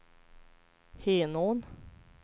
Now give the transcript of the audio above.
Henån